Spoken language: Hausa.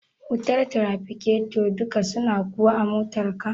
wutar tirafiketo duka suna kuwa a motar ka?